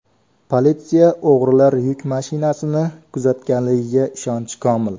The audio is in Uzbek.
Politsiya o‘g‘rilar yuk mashinasini kuzatganligiga ishonchi komil.